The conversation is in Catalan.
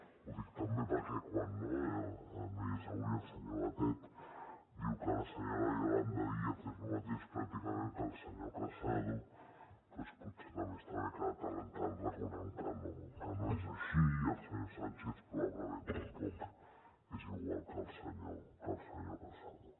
ho dic també perquè quan no hi és avui el senyor batet diu que la senyora yolanda díaz és el mateix pràcticament que el senyor casado doncs potser també està bé que de tant en tant recordem que no és així i el senyor sánchez probablement tampoc és igual que el senyor casado